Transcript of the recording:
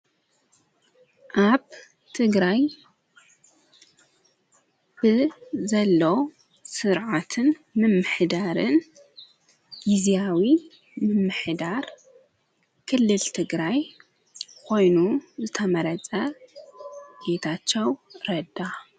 ኣብ ትግራይ ብዘሎ ሥርዓትን ምምሕዳርን ጊዜያዊ ምምሕዳር ክልል ትግራይ ኾይኑ ዝተመረጸ ጌታቸው ረዳ።